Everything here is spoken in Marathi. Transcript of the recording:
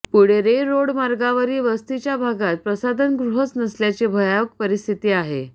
पुढे रे रोड मार्गावरील वस्तीच्या भागात प्रसाधनगृहच नसल्याची भयावह परिस्थिती आहे